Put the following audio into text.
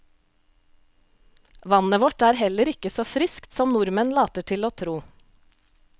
Vannet vårt er heller ikke så friskt som nordmenn later til å tro.